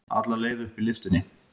Alla leið upp í lyftunni.